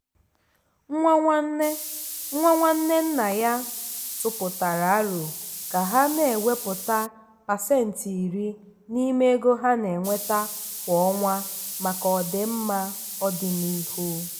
nwa nwanne nwa nwanne nna ya tụpụtara árò ka ha na-ewepụta pasentị iri n'ime ego ha na-enweta kwa ọnwa maka ọdịmma ọdịnihu.